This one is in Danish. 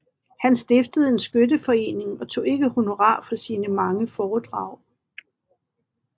Han stiftede en skytteforening og tog ikke honorar for sine mange foredrag